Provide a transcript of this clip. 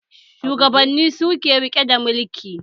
Shugabanni suke rike da mulki